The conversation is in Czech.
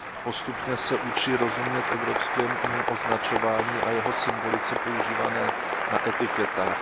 Postupně se učí rozumět evropskému označování a jeho symbolice používané na etiketách.